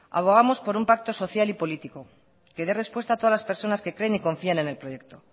abogamos por un pacto social y político que dé respuesta a todas las personas que creen y confíen en el proyecto